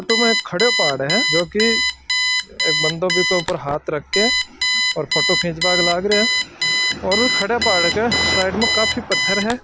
में एक खड़े पहाड़ है जो की एक बन्दों बिका उपरे हाथ रख के और फोटो खींच बाने लागरियो है और खड़े पहाड़ के साइड में काफी पथर है।